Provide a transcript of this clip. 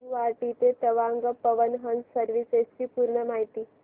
गुवाहाटी ते तवांग पवन हंस सर्विसेस ची पूर्ण माहिती